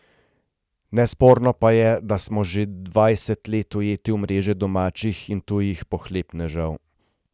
Nesporno pa je, da smo že dvajset let ujeti v mreže domačih in tujih pohlepnežev.